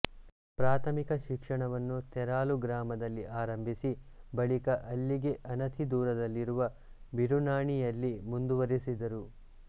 ಪ್ರಾಥಮಿಕ ಶಿಕ್ಷಣವನ್ನು ತೆರಾಲು ಗ್ರಾಮದಲ್ಲಿ ಆರಂಭಿಸಿ ಬಳಿಕ ಅಲ್ಲಿಗೆ ಅನತಿ ದೂರದಲ್ಲಿರುವ ಬಿರುನಾಣಿಯಲ್ಲಿ ಮುಂದುವರೆಸಿದರು